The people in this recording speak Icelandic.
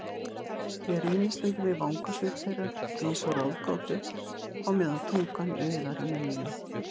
Ég rýni stundum í vangasvip þeirra einsog ráðgátu á meðan tungan iðar í munninum.